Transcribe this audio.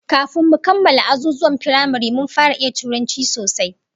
Kafin mu kammala azuzuwan firamare mun fara iya Turanci sosai